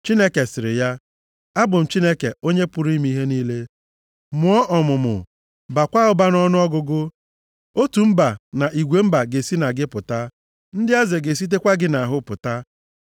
Chineke sịrị ya, “Abụ m Chineke onye pụrụ ime ihe niile. Mụọ ọmụmụ, baakwa ụba nʼọnụọgụgụ. Otu mba na igwe mba ga-esi na gị pụta. Ndị eze ga-esitekwa gị nʼahụ pụta.